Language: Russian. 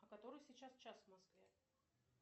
а который сейчас час в москве